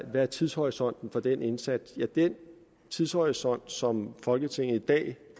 hvad tidshorisonten er for den indsats ja den tidshorisont som folketinget i dag